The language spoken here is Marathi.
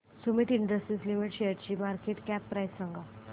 सुमीत इंडस्ट्रीज लिमिटेड शेअरची मार्केट कॅप प्राइस सांगा